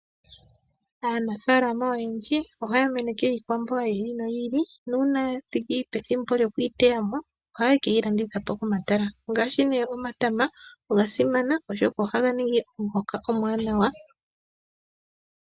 Aanafaalama oyendji ohaya meneke iikwamboga yi ili noyi ili nuuna yathiki pethimbo lyokuyi teyamo ohaya keyi ladhitha po komatala, ngaasshi ne omatama ogasimana oshoka ohaga ningi omuhoka omuwanawa.